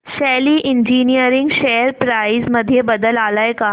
शेली engineering share price मध्ये बदल आलाय का